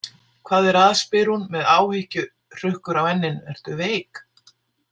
Hvað er að, spyr hún með áhyggjuhrukkur á enninu, „ertu veik“?